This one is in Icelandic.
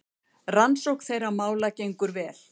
Rannsókn þeirra mála gengur vel.